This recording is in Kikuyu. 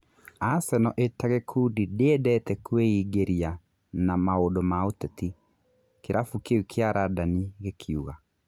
" Aseno ĩtagĩkundi ndĩendete kwĩingĩria na maũndũ ma ũteti", kĩrabu kĩu kĩa Randani gĩkiuga.